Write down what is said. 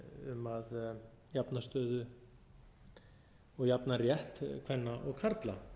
um að jafna stöðu og jafna rétt kvenna og karla